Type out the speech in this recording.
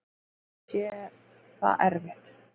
Samt sé það erfitt.